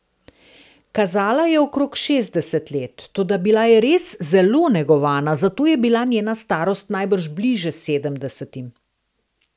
Kazala je okrog šestdeset let, toda bila je res zelo negovana, zato je bila njena starost najbrž bliže sedemdesetim.